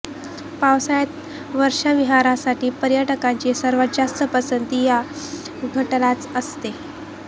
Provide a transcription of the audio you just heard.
पावसाळ्यात वर्षाविहारासाठी पर्यटकांची सर्वांत जास्त पसंती या घाटालाच असते